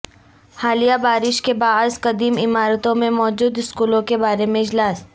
حالیہ بارش کے باعث قدیم عمارتوں میں موجود اسکولوں کے بارے میں اجلاس